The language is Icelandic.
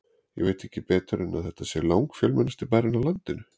Ég veit ekki betur en þetta sé langfjölmennasti bærinn á landinu.